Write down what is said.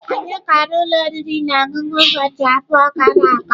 Anyị gara ụlọ oriri na ọṅụṅụ ụbọchị abụọ gara aga.